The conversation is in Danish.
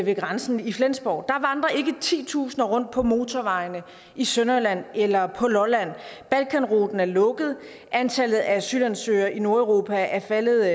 ved grænsen i flensborg og titusinder rundt på motorvejene i sønderjylland eller på lolland balkanruten er lukket og antallet af asylansøgere i nordeuropa er faldet